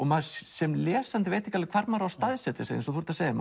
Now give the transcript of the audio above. maður sem lesandi veit ekki hvar maður á staðsetja sig eins og þú segir